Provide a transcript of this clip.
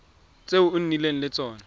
tse o nnileng le tsone